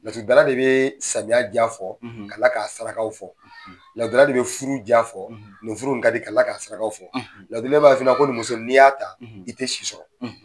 Laturu da la de be samiya ja fɔ ka kila k'a saraka fɔ. Laturu da la de be furu ja fɔ nin furu in ka di. Ka kila ka saraka fɔ . Laturu da la b'a f'i ma ko nin muso in n'i y'a ta i tɛ si sɔrɔ